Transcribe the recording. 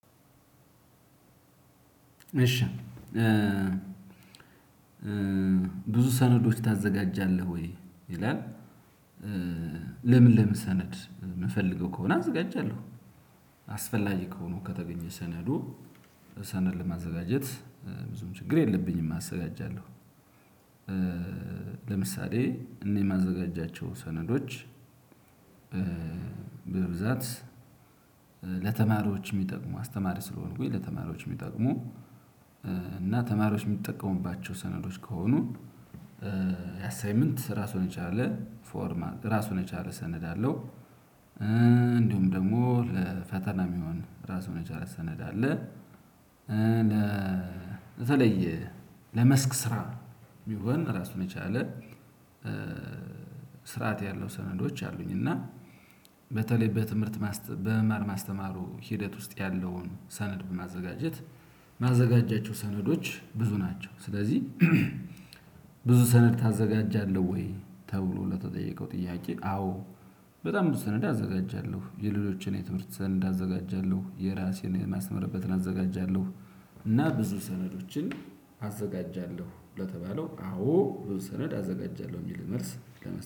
እሺ ብዙ ሰነዶች ታዘጋጃለህ ወይ? ይላል ለምን ለምን ሰነድ ምፈልገው ከሆነ አዘጋጃለሁ። አስፈላጊ ከሆኖ ከተገኘ ሰነዱ ሰነድ ለማዘጋጀት ብዙም ችግር የለብኝም አዘጋጃለሁ። ለምሳሌ እኔ የማዘጋጃቸው ሰነዶች። በብዛት ለተማሪዎች የሚጠቅሙ አስተማሪ ስለሆንኩኝ ለተማሪዎች የሚጠቅሙ እና ተማሪዎች የሚጠቀሙባቸው ሰነዶች ከሆኑ የአሳይመንት ራሱን የቻለ ፎርማት ራሱን የቻለ ሰነድ አለው። እንዲሁም ደግሞ ፈተና የሚሆን ራሱን የቻለ ሰነድ አለ። ለተለየ ለመስክ ስራ ሚሆን ራሱን የቻለ ስርዓት ያለው ሰነዶች አሉኝ። እና በተለይ በትምህርት ማስተ በመማር ማስተማሩ ሂደት ውስጥ ያለውን ሰነድ በማዘጋጀት ማዘጋጃቸው ሰነዶች ብዙ ናቸው። ስለዚህ ብዙ ሰነድ ታዘጋጃለህ ወይ? ተብሎ ለተጠየቀው ጥያቄ አዎ በጣም ብዙ ሰነድ አዘጋጃለሁ የሌሎችን የትምህርት ሰነድ አዘጋጃለሁ የራሴን የማስተምርበትን አዘጋጃለሁ። እና ብዙ ሰነዶችን አዘጋጃለሁ ለተባለው አዎ ብዙ ሰነድ አዘጋጃለሁ የሚል መልስ